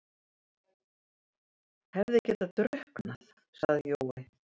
Hefði getað drukknað, sagði Jói.